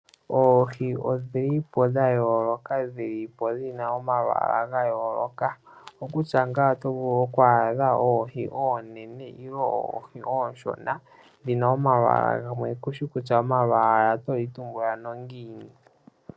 Oohi odhili po dha yooloka dhi li po dhina omalwaala ga yooloka. Okokutya ngaa oto vulunokwadha oohi oonen ilo oboohi ooshona Dhina omalwaala gamwe kushi kutya omalwaala oto li tumbula na ngiini.